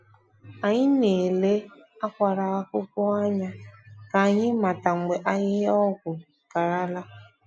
Anyị na-ele akwara akwụkwọ anya ka anyị mata mgbe ahịhịa ọgwụ karala.